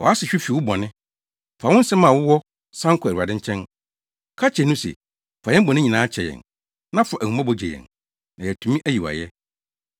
Fa wo nsɛm a wowɔ san kɔ Awurade nkyɛn. Ka kyerɛ no se, “Fa yɛn bɔne nyinaa kyɛ yɛn, na fa ahummɔbɔ gye yɛn, na yɛatumi ayi wo ayɛ.